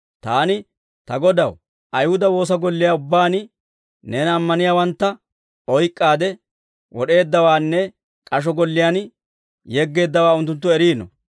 «Taani, ‹Ta Godaw, Ayihuda woosa golliyaa ubbaan neena ammaniyaawantta oyk'k'aade wad'd'eeddawaanne k'asho golliyaan yeggeeddawaa unttunttu eriino.